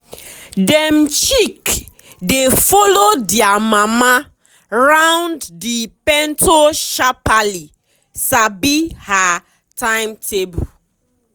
dem chick dey follow dia mama round the pento sharpaly sabi her timetable.